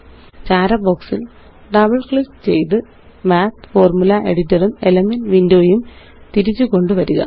ചാര ബോക്സില് double click ചെയ്ത് മാത്ത് ഫോർമുല എഡിറ്റർ ഉംElements windowയും തിരിച്ചുകൊണ്ടുവരിക